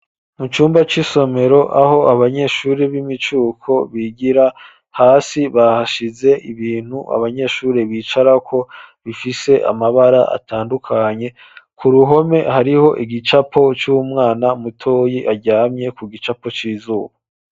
Mu cyumba c'isomero aho abanyeshuri b'imicuko bigira hasi bahashize ibintu abanyeshuri bicarako bifise amabara atandukanye ,ku ruhome hariho igicapo c'umwana mutoyi aryamye ku gicapo c'izuba.